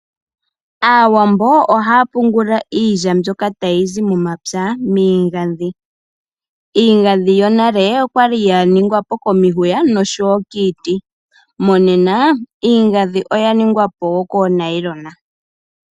Aawambo ohaa pungula iilya mbyoka tayi zi momapya miigandhi. Iigandhi yonale okwali ya ningwa po komihuya noshowo kiiti. Monena iigandhi oya ningwa po koonayilona